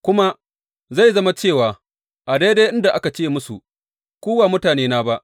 kuma, Zai zama cewa a daidai inda aka ce musu, Ku ba mutanena ba,’